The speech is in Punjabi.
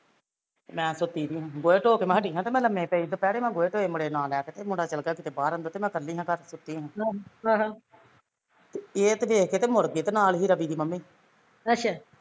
ਤੇ ਮੈਂ ਸੁੱਤੀ ਸੀ ਗੋਏ ਧੋਕੇ ਮੈਂ ਹਟੀ ਆ ਲਮੇ ਪਏ ਦੁਪਹੇਰੇ ਮੈਂ ਗੋਏ ਧੋਏ ਮੁੰਡੇ ਨੂੰ ਨਾਲ਼ ਲੈ ਕੇ ਤੇ ਮੁੰਡਾ ਚੱਲ ਗਿਆ ਕਿਤੇ ਬਾਹਰ ਅੰਦਰ ਤੇ ਮੈਂ ਕਲੀ ਸਾ ਘਰ ਸੁੱਤੀ ਸਾ ਤੇ ਇਹ ਤੇ ਵੇਖ ਕੇ ਮੁੜ ਗਏ ਤੇ ਨਾਲ਼ ਸੀ ਰਵੀ ਡੀ ਮੰਮੀ